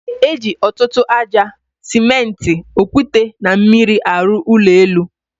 E, eji ọtụtụ aja, simenti, okwute na mmiri arụ ụlọ elu